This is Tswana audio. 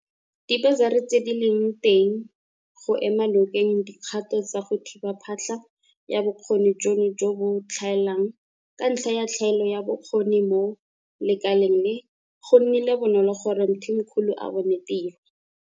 Dibasari tse di leng teng go ema nokeng dikgato tsa go thiba phatlha ya bokgoni jono jo bo tlhaelang ka ntlha ya tlhaelo ya bokgoni mo lekaleng le, go nnile bonolo gore Mthimkhulu a bone tiro.